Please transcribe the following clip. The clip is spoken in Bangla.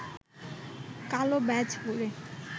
কালো ব্যাজ পরে